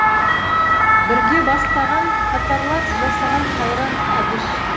бірге бастаған қатарлас жасаған қайран әбіш